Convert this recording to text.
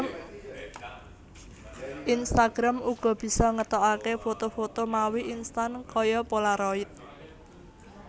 Instagram uga bisa ngetokake foto foto mawi instan kaya polaroid